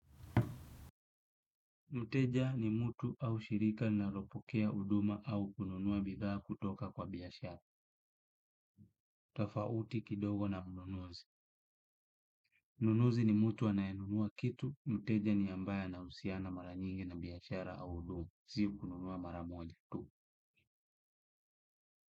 Mteja ni mtu au shirika linalopokea huduma au kununua bidhaa kutoka kwa biashara. Tofauti kidogo na mnunuzi. Mnunuzi ni mtu anayenunua kitu, mteja ni ambaye anahusiana mara nyingi na biashara au huduma, si kununua mara moja tu.